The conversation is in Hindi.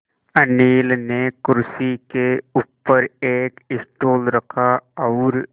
अनिल ने कुर्सी के ऊपर एक स्टूल रखा और